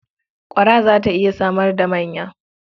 Ƙwara za ta iya samar da manya.